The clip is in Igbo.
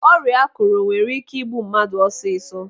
Ọrịa ákụ̀rụ̀ nwere ike igbu mmadụ ọsịsọ.